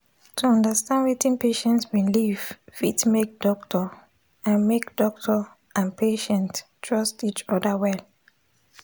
to understand wetin patient believe fit make doctor and make doctor and patient trust each other well.